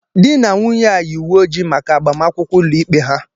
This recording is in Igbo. Di na nwunye a yi uwe ojii maka agbamakwụkwọ ụlọikpe ha.